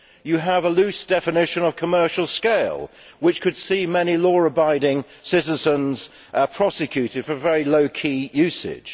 You have a loose definition of commercial scale, which could see many law abiding citizens prosecuted for very low key usage.